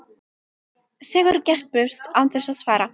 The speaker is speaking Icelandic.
Sigurður gekk burt án þess að svara.